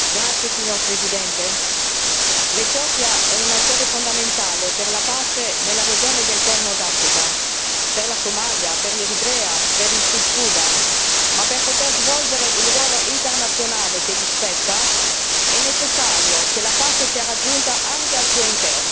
Signor Presidente, onorevoli colleghi, l'Etiopia è un attore fondamentale per la pace nella regione del Corno d'Africa, per la Somalia, per l'Eritrea e per il Sud Sudan, ma per poter svolgere il ruolo internazionale che le spetta è necessario che la pace sia raggiunta anche al suo interno.